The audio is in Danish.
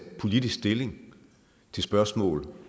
politisk stilling til spørgsmål